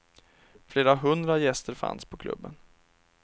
Flera hundra gäster fanns på klubben.